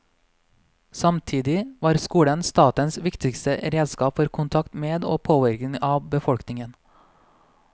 Samtidig var skolen statens viktigste redskap for kontakt med og påvirkning av befolkningen.